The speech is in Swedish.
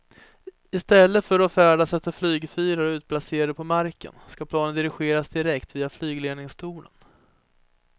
I stället för att färdas efter flygfyrar utplacerade på marken ska planen dirigeras direkt via flygledningstornen.